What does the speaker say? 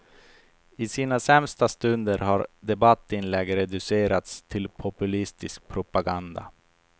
I sina sämsta stunder har debattinlägg reducerats till populistisk propaganda.